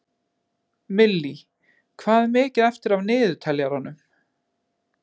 Millý, hvað er mikið eftir af niðurteljaranum?